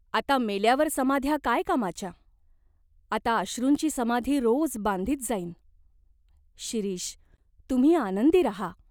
आता मेल्यावर समाध्या काय कामाच्या ? आता अश्रूंची समाधी रोज बांधीत जाईन." "शिरीष, तुम्ही आनंदी राहा.